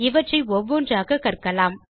இவற்றை ஒவ்வொன்றாக கற்கலாம்